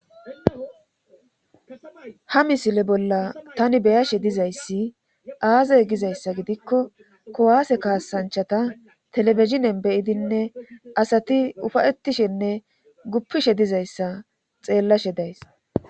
ha misile bolla tani be7ashe dizayssi aaze gizayssa gidikko kuwaase kaasanchata telebizhinen be7idinne asati ufa7etishenne guppishe dizayssa xeellashe days.